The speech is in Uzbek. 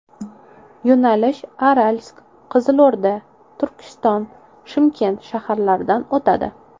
Yo‘nalish Aralsk, Qizilo‘rda, Turkiston, Shimkent shaharlaridan o‘tadi.